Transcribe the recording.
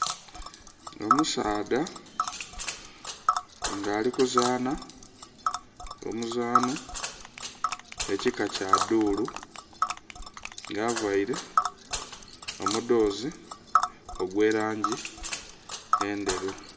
Omusaadha nga ali kuzanha omuzanho ekika kya dhuru nga avaire omudoozi ogwe langi endheru.